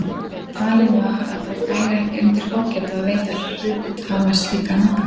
Talið var að það bæri ekki undir fógeta að veita hluthafa slíkan aðgang.